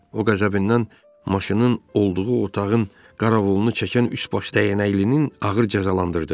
O qəzəbindən maşının olduğu otağın qaravulunu çəkən üçbaşlı dəyənəklini ağır cəzalandırdı.